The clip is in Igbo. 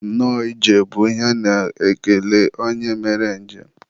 nnọọ ije bụ ihe a na-ekele onye mere njem